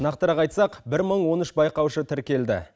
нақтырақ айтсақ бір мың он үш байқаушы тіркелді